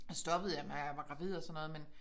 Så stoppede jeg da jeg var gravid og sådan noget men